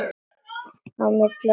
Á milli okkar hékk net.